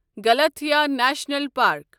غلطیہٕ national park